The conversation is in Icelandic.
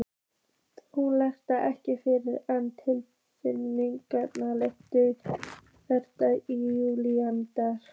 Hún haggaðist ekki fyrr en trillukarlinn lamdi þéttingsfast í júgrin.